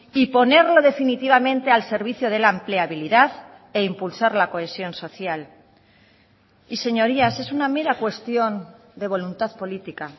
y ponerlo definitivamente al servicio de la empleabilidad e impulsar la cohesión social y señorías es una mera cuestión de voluntad política